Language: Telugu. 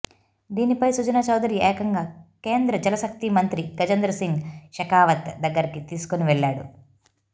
దీనిపై సుజనా చౌదరి ఏకంగా కేంద్ర జలశక్తి మంత్రి గజేంద్ర సింగ్ షెకావత్ దగ్గరకి తీసుకోని వెళ్ళాడు